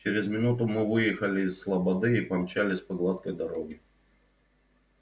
через минуту мы выехали из слободы и помчались по гладкой дороге